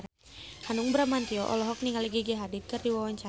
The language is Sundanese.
Hanung Bramantyo olohok ningali Gigi Hadid keur diwawancara